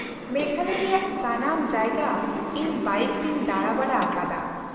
-ᱢᱮᱜᱷᱟᱞᱚᱭ ᱨᱮᱭᱟᱜ ᱥᱟᱱᱟᱢ ᱡᱟᱭᱜᱟ ᱤᱧ ᱵᱟᱭᱤᱠ ᱛᱤᱧ ᱫᱟᱬᱟᱼᱵᱟᱲᱟ ᱟᱠᱟᱫᱼᱟ᱾